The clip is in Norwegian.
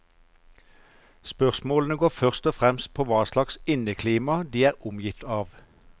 Spørsmålene går først og fremst på hva slags inneklima de er omgitt av.